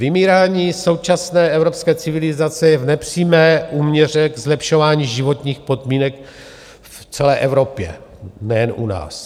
Vymírání současné evropské civilizace je v nepřímé úměře k zlepšování životních podmínek v celé Evropě, nejen u nás.